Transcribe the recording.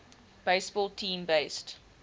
baseball team based